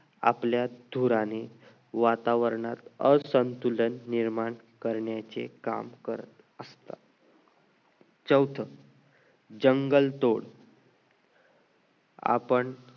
आपल्या धूराने वातावरणात असंतुलन निर्माण करण्याचे काम करत असतात चौथं jungle तोड आपण